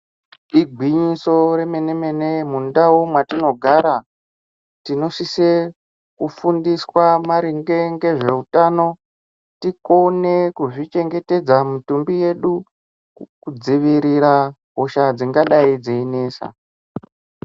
Igwinyiso remene-mene mundau mwetinogara tinosise kufundiswa maringe ngezveutano, tikone kuzvichengetedza mitumbi yedu kudzivirira hosha dzingadai dzeinesa.